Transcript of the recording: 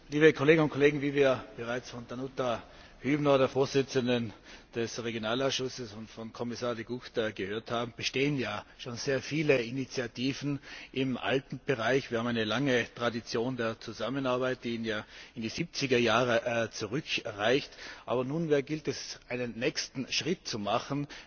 Frau Präsidentin, liebe Kolleginnen und Kollegen! Wie wir bereits von Danuta Hübner, der Vorsitzenden des Regionalausschusses, und von Kommissar De Gucht gehört haben, bestehen schon sehr viele Initiativen im Alpenbereich. Wir haben eine lange Tradition der Zusammenarbeit, die in die 70er Jahre zurückreicht, aber nunmehr gilt es, einen nächsten Schritt zu machen.